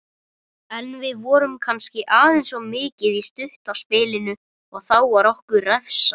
En við vorum kannski aðeins of mikið í stutta spilinu og þá var okkur refsað.